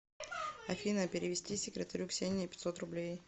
афина перевести секретарю ксении пятьсот рублей